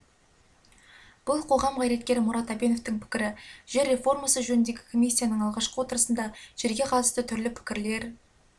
бұл қоғам қайраткері мұрат әбеновтың пікірі жер реформасы жөніндегі комиссияның алғашқы отырысында жерге қатысты түрлі пікрілер